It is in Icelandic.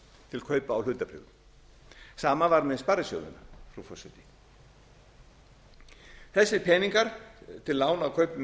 til kaupa á hlutabréfum sama var með sparisjóðina frú forseti þessir peningar til lána á kaupum